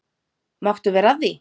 Máttu vera að því?